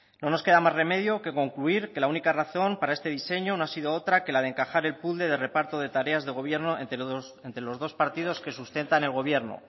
no nos queda más remedio que concluir que la única razón para este diseño no ha sido otra que la de encajar el puzzle de reparto de tareas de gobierno entre los dos partidos que sustentan el gobierno